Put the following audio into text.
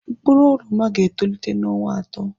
Mkpụrụ oroma ga-etolite n'ọnwa atọ.